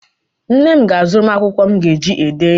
Nne m ga-azụrụ m akwụkwọ m ga-eji ede ihe.